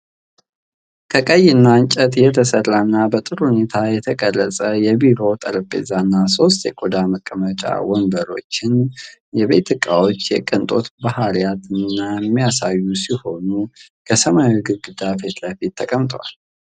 ከቀይ እንጨት የተሰራና በጥሩ ሁኔታ የተቀረጸ የቢሮ ጠረጴዛና ሶስት የቆዳ መቀመጫ ወንበሮችን። የቤት እቃዎቹ የቅንጦት ባህሪያትን የሚያሳዩ ሲሆን ከሰማያዊ ግድግዳ ፊት ለፊት ተቀምጠዋል።